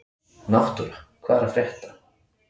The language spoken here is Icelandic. Náttúra, hvað er að frétta?